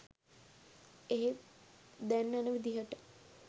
එහෙත් දැන් යන විදිහට